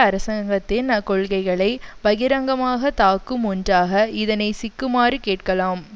அரசாங்கத்தின் கொள்கைகளை பகிரங்கமாக தாக்கும் ஒன்றாக இதனை சிக்குமாறு கேட்கலாம்